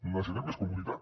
necessitem més comunitat